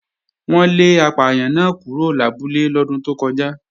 Wọ́n lé apàyàn náà kúrò lábúlé lọ́dún tó kọjá